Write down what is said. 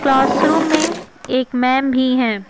Classroom में एक ma'am भी हैं।